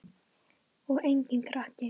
Og enginn krakki!